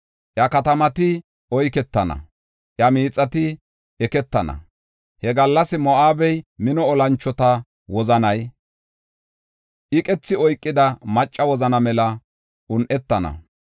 Iya katamati oyketana; iya miixati eketana. He gallas Moo7abe mino olanchota wozanay iqethi oykida maccasa wozana mela un7etana.